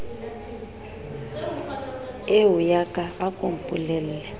eoya ka a ko mpolelle